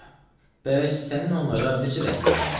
bəs sənin onlara necə rəhmin gəlmir?